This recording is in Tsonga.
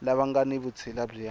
lava nga ni vutshila bya